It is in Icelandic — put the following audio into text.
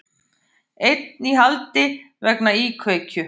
Einn í haldi vegna íkveikju